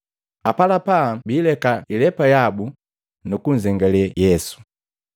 Apalapa biileka ilepa yabu nu kunzengalee Yesu.